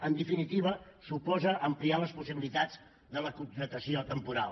en definitiva suposa ampliar les possibilitats de la contractació temporal